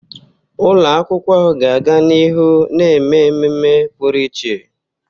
Ụlọ akwụkwọ ahụ ga-aga n'ihu na-eme ememe pụrụ iche.